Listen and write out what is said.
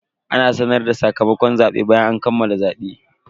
Ana sanar da sakamakon zabe bayan an kammala zabe.